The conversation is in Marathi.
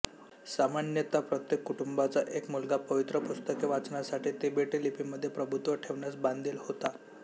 सामान्यत प्रत्येक कुटूंबाचा एक मुलगा पवित्र पुस्तके वाचण्यासाठी तिबेटी लिपीमध्ये प्रभुत्व ठेवण्यास बांधील होता